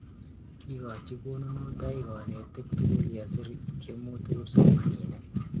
Kikochi konunetoik kanetik tukul yesir tyemutik kipsomaninik